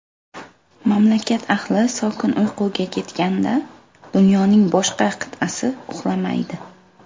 Mamlakat ahli sokin uyquga ketganda, dunyoning boshqa qit’asi uxlamaydi.